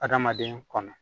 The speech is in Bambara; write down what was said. Adamaden kɔnɔ